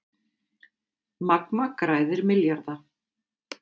Magma græðir milljarða